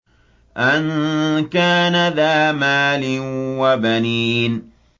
أَن كَانَ ذَا مَالٍ وَبَنِينَ